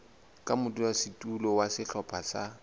ka modulasetulo wa sehlopha sa